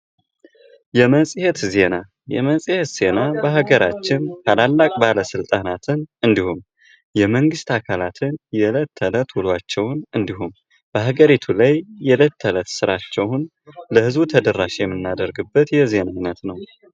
የመጽሄት ዜና ፤ የመጽሄት ዜና በሃገራችን ታላላቅ ባለስልጣናትን እንዲሁም የመንግስት አካላትን የእለት ተለት ውሏቸውን እንዲሁም በሃገሪቱ ላይ የእለት ተለት ስራቸውን ለህዝቡ ተደራሽ የምናደርግበት የዜና አይነት ነው።